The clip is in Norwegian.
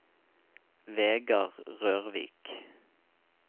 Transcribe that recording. Vegar Rørvik